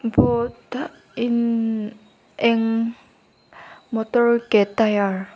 boat a eng eng motor ke tire .